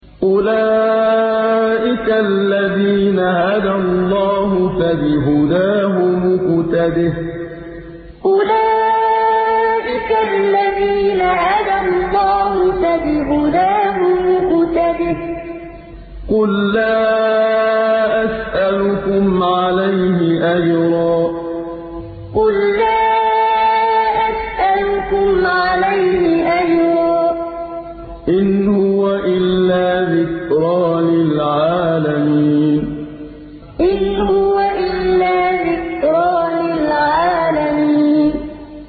أُولَٰئِكَ الَّذِينَ هَدَى اللَّهُ ۖ فَبِهُدَاهُمُ اقْتَدِهْ ۗ قُل لَّا أَسْأَلُكُمْ عَلَيْهِ أَجْرًا ۖ إِنْ هُوَ إِلَّا ذِكْرَىٰ لِلْعَالَمِينَ أُولَٰئِكَ الَّذِينَ هَدَى اللَّهُ ۖ فَبِهُدَاهُمُ اقْتَدِهْ ۗ قُل لَّا أَسْأَلُكُمْ عَلَيْهِ أَجْرًا ۖ إِنْ هُوَ إِلَّا ذِكْرَىٰ لِلْعَالَمِينَ